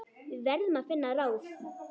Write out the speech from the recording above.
Við verðum að finna ráð.